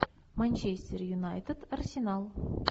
манчестер юнайтед арсенал